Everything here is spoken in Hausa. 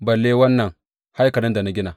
Balle wannan haikalin da na gina!